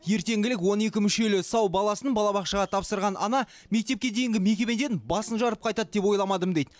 ертеңгілік он екі мүшелі сау баласын балабақшаға тапсырған ана мектепке дейінгі мекемеден басын жарып қайтады деп ойламадым дейді